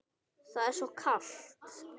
Það er svo kalt.